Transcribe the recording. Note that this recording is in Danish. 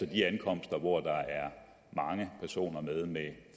de ankomster hvor der er mange personer med